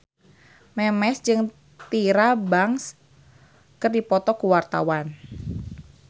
Memes jeung Tyra Banks keur dipoto ku wartawan